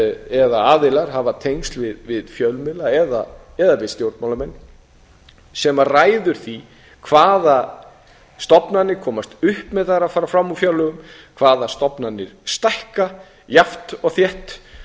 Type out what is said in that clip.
eða aðilar hafa tengsl við fjölmiðla eða við stjórnmálamenn sem ræður því hvaða stofnanir komast upp með það að fara fram úr fjárlögum hvaða stofnanir stækka jafnt og þétt